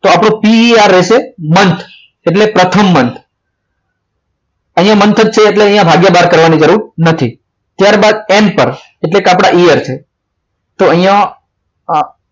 તો આપણો PERmonth એટલે પ્રથમ month અહીંયા month છે એટલે ભાગ્ય બાર કરવાની જરૂર નથી ત્યારબાદ એમ પર એટલે કે આપણા આપણા year છે તો અહીંયા આ